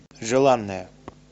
желанная